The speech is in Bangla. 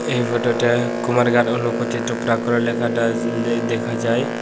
এই ফটোটায় কুমারঘাট ও লোকোচিত্র লেখাটা দে দেখা যায়।